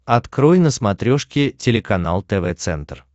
открой на смотрешке телеканал тв центр